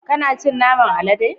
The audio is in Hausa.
Kana cin naman alade?